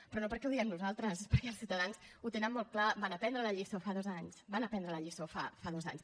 però no perquè ho diem nosaltres perquè els ciutadans ho tenen molt clar van aprendre la lliçó fa dos anys van aprendre la lliçó fa dos anys